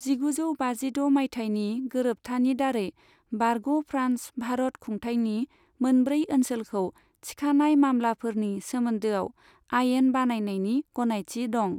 जिगुजौ बाजिद' मायथाइनि गोरोबथानि दारै, बारग' फ्रान्स भारत खुंथाइनि मोनब्रै ओनसोलखौ थिखानाय मामलाफोरनि सोमोन्दोआव आयेन बानानायनि गनायथि दं।